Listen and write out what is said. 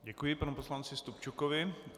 Děkuji panu poslanci Stupčukovi.